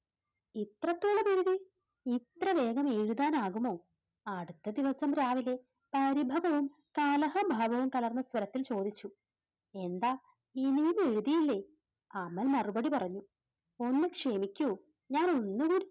ഇത്രവേഗം എഴുതാൻ ആകുമോ അടുത്ത ദിവസം രാവിലെ പരിഭവവും കലഹ ഭാവവും കലർന്ന സ്വരത്തിൽ ചോദിച്ചു എന്താ ഇനിയും എഴുതിയില്ലേ? അമൽ മറുപടി പറഞ്ഞു, ഒന്ന് ക്ഷമിക്കൂ ഞാൻ ഒന്നുകൂടി,